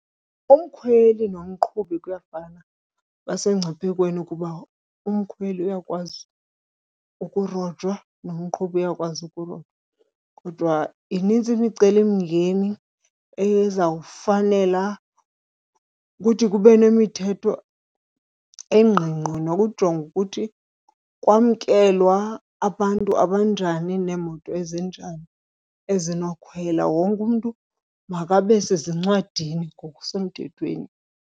Umkhweli nomqhubi kuyafana basemngciphekweni kuba umkhweli uyakwazi ukurojwa nomqhubi uyakwazi ukurojwa. Kodwa minintsi imicelimngeni ezawufanela ukuthi kube nemithetho engqingqwa nokujonga ukuthi kwamkelwa abantu abanjani neemoto ezinjani ezinokhwelwa, wonke umntu makabe sezincwadini ngokusemthethweni.